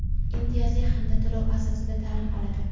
imtiyozli hamda to‘lov asosida ta’lim oladi.